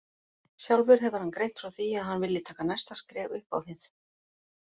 Sjálfur hefur hann greint frá því að hann vilji taka næsta skref upp á við.